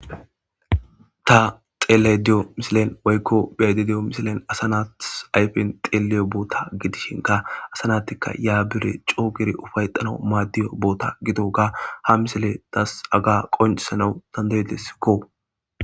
Ta xeellaydda diyo misilen woykko be'aydda diyo misilen asa naatis ayfen xeelliyo boota gidishinkka asa naati yaa gede coo giidi ufayetanaw maaddiyo boota gidoga ha misiley tas haga qonccisanaw danda'idesikko.